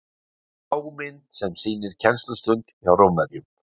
Lágmynd sem sýnir kennslustund hjá Rómverjum.